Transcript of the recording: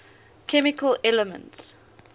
chemical elements